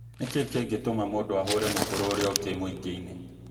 Nĩkĩĩ kĩngĩtũma mũndũ ahũre mũkũrũ ũrĩa ũngĩ mũĩngĩ-inĩ?